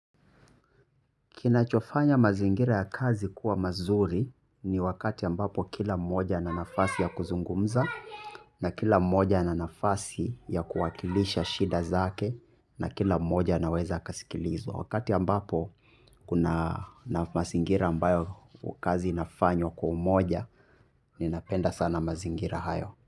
Kinachofanya mazingira ya kazi kuwa mazuri ni wakati ambapo kila mmoja ana nafasi ya kuzungumza na kila mmoja ana nafasi ya kuwakilisha shida zake na kila mmoja anaweza akasikilizwa. Wakati ambapo kuna na mazingira ambayo kazi inafanywa kwa umoja ninapenda sana mazingira hayo.